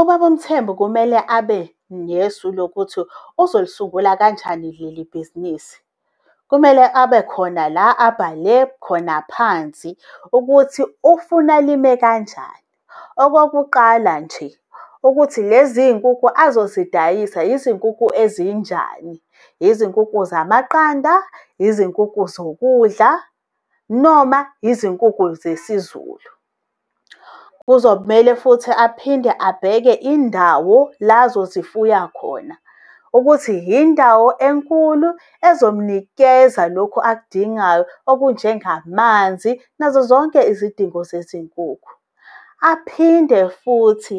Ubaba uMthembu kumele abe nesu lokuthi uzolisungula kanjani leli bhizinisi. Kumele abe khona la abhale khona phansi ukuthi ufuna lime kanjani. Okokuqala nje, ukuthi lezinkukhu uzozidayisa izinkukhu ezinjani. Izinkukhu zamaqanda, izinkukhu zokudla noma izinkukhu zesizulu. Kuzomele futhi aphinde abheke indawo la azozifuya khona ukuthi yindawo enkulu ezomnikeza lokhu akudingayo okunjengamanzi nazo zonke izidingo zezinkukhu. Aphinde futhi